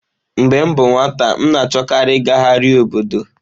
Mgbe m bụ nwata, m na-achọkarị ịgagharị obodo.